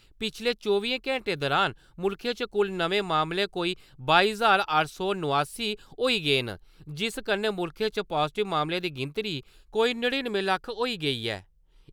पिछले चौबियें घैंटे दौरान मुल्खै च कुल नमें मामले कोई बाई ज्हार अट्ठ सौ नुआसी होई गेई ऐ जिस कन्नै मुल्खै च पाजीटिव मामले दी गिनतरी केई नड़िनुएं लक्ख होई गेदी ऐ।